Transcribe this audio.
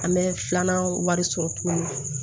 An bɛ filanan wari sɔrɔ tuguni